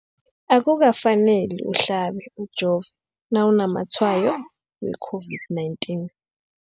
Akuka faneli uhlabe, ujove nawu namatshayo we-COVID-19.